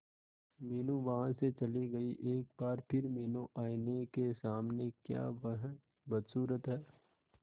मीनू वहां से चली गई एक बार फिर मीनू आईने के सामने क्या वह बदसूरत है